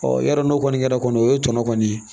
yɔrɔ n'o kɔni kɛra kɔni o ye tɔnɔ kɔni ye